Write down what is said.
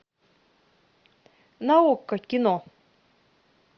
на окко кино